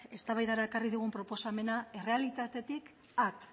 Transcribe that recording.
eztabaidara ekarri digun proposamena errealitatetik at